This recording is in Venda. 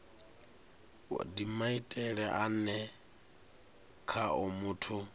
ndi maitele ane khao muthu